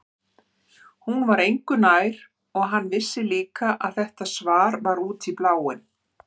Hún var engu nær og hann vissi líka að þetta svar var út í bláinn.